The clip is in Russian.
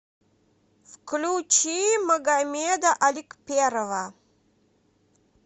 включи магомеда аликперова